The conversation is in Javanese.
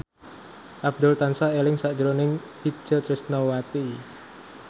Abdul tansah eling sakjroning Itje Tresnawati